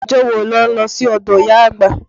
Ọjọ́ wo ni wọn lọ sí ọdọ ìyá àgbà?